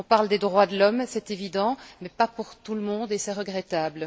On parle des droits de l'homme, c'est évident, mais pas pour tout le monde, et c'est regrettable.